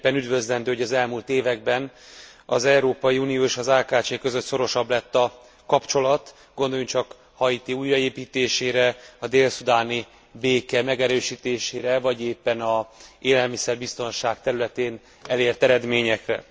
Mindenképpen üdvözlendő, hogy az elmúlt években az Európai Unió és az AKCS között szorosabb lett a kapcsolat. Gondoljunk csak Haiti újjáépítésére, a dél szudáni béke megerősítésére vagy éppen az élelmiszerbiztonság területén elért eredményekre.